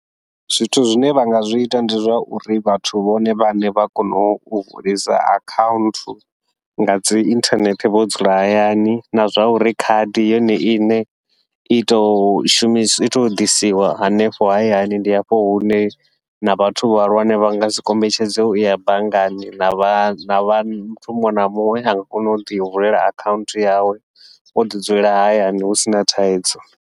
Zwithu zwine vha nga zwi ita ndi zwa uri vhathu vhone vhaṋe vha kona u vulisa akhaunthu ngadzi inthanethe vho dzula hayani, na zwa uri khadi yone iṋe i tou shumisiwa ito ḓisiwa hanefho hayani. Ndi hafho hune na vhathu vhahulwane vha ngasi kombetshedze uya banngani na vha muthu muṅwe na muṅwe a nga kona u ḓi vulela akhaunthu yawe, wo ḓi dzulela hayani hu sina thaidzo.